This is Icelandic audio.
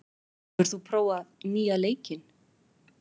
, hefur þú prófað nýja leikinn?